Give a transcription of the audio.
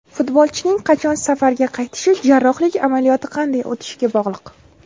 Futbolchining qachon safga qaytishi jarrohlik amaliyoti qanday o‘tishiga bog‘liq.